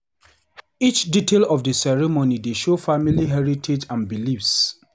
Each detail of the ceremony dey show family heritage and beliefs.